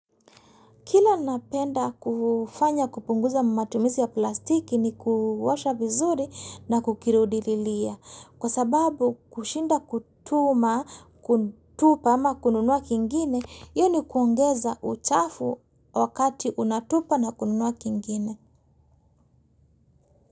Kila napenda kufanya kupunguza matumisi ya plastiki ni ku washa vizuri na kukirudililia. Kwa sababu kushinda kutuma, kuntupa ama kununua kingine, iyo ni kuongeza uchafu wakati unatupa na kununua kingine.